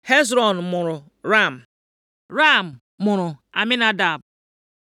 Hezrọn mụrụ Ram Ram mụrụ Aminadab